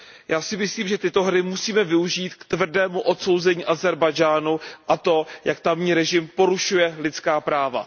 Já si myslím, že tyto hry musíme využít k tvrdému odsouzení Ázerbájdžánu a toho, jak tamní režim porušuje lidská práva.